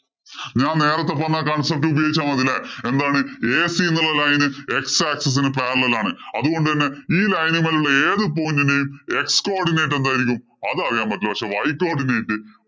ഞാന്‍ നേരത്തെ പറഞ്ഞ concept ഉപയോഗിച്ചാ മതി അല്ലേ. എന്താണ് AC എന്നുള്ള line x axis ന് parallel ആണ്. അതുകൊണ്ട് തന്നെ ഈ line മേലുള്ള ഏതു point ഇന്‍റെയും x codinate എന്തായിരിക്കും? അതറിയാന്‍ പറ്റില്ല. പക്ഷേ, y codinate